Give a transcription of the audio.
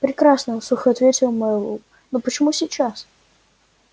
прекрасно сухо ответил мэллоу но почему сейчас